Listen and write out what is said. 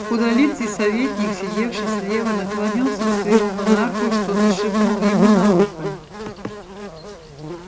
худолицый советник сидевший слева наклонился к своему монарху и что-то шепнул ему на ухо